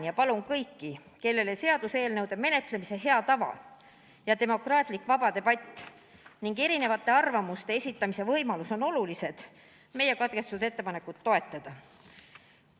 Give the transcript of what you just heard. Ja palun kõiki, kellele seaduseelnõude menetlemise hea tava ja demokraatlik vaba debatt ning erinevate arvamuste esitamise võimalus on olulised, meie katkestamise ettepanekut toetada.